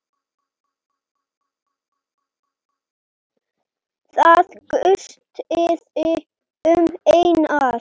Það gustaði um Einar.